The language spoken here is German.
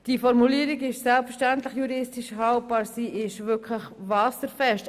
Die Formulierung ist selbstverständlich juristisch haltbar, sie ist wirklich wasserfest.